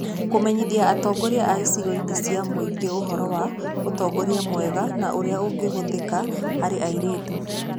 Kũmenyithia atongoria a icigo-inĩ cia mũingĩ ũhoro wa ũtongoria mwega na ũrĩa ũngĩhũthĩka harĩ airĩtu